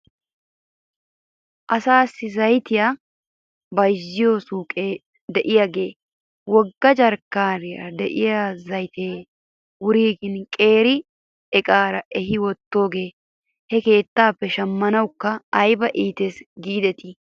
Asaassi zayttiyaa bayzziyoo suyqee de'iyaagan wogga jarkkiyaara de'iyaa zaytee wuriggin qeera iqaara ehi wottidoogee he keettappe shammanawkka ayba iites giidetii